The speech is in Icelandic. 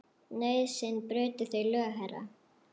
Nauðsyn braut þau lög, herra.